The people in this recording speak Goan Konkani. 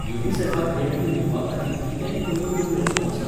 युनिसॅफाक देणगी दिवपाखातीर कितेंय कमीत कमी रक्कम आसा?